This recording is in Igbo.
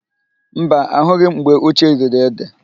Mba, ahụghị m mgbe Uche riri édè.